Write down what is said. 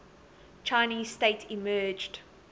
chinese state emerged